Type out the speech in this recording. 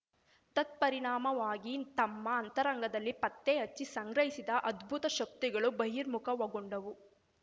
ತತ್ಪರಿಣಾಮವಾಗಿ ತಮ್ಮ ಅಂತರಂಗದಲ್ಲಿ ಪತ್ತೆಹಚ್ಚಿ ಸಂಗ್ರಹಿಸಿದ ಅದ್ಭುತ ಶಕ್ತಿಗಳು ಬಹಿರ್ಮುಖಗೊಂಡವು